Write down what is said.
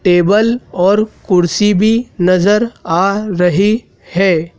Table और कुर्सी भी नजर आ रही है।